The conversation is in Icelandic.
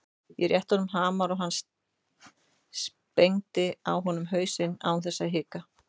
Ég rétti honum hamar og hann sprengdi á honum hausinn án þess að hika.